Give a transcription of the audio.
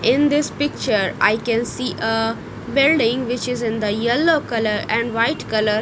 in this picture i can see a building which is in the yellow colour and white colour.